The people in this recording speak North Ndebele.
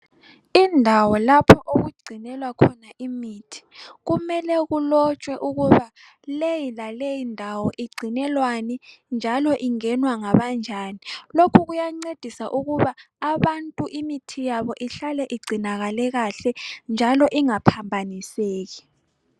Indawo lapho okugcinelwa khona imithi, kumele kulotshwe ukuba leyi laleyi ndawo igcinelwani, njalo ingenwa ngabanjani lokhu kuyancedisa ukuba abantu imithi yabo ihlale igcinakale kahle njalo ingaphambaniseki.